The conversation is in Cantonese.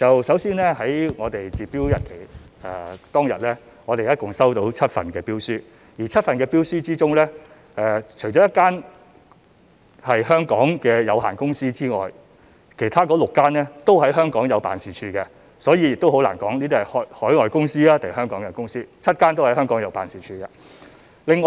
首先在截標當天，我們一共收到7份標書，當中除了1間是香港的有限公司外，其他6間均在香港設有辦事處，所以難以分辨這些是海外公司還是香港的公司 ，7 間公司均在香港設有辦事處。